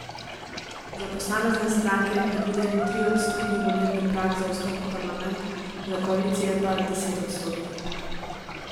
Za posamezne stranke je predviden triodstotni volilni prag za vstop v parlament, za koalicije pa desetodstotni.